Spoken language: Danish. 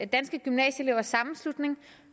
danske gymnasieelevers sammenslutning